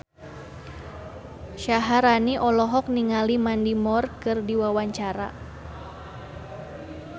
Syaharani olohok ningali Mandy Moore keur diwawancara